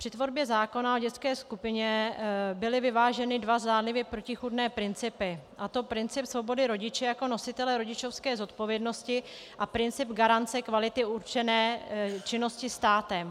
Při tvorbě zákona o dětské skupině byly vyváženy dva zdánlivě protichůdné principy, a to princip svobody rodiče jako nositele rodičovské zodpovědnosti a princip garance kvality určené činnosti státem.